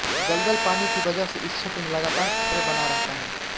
दलदल पानी की वजह से इस क्षेत्र में लगातार खतरे बना रहता है